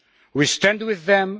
We stand with them.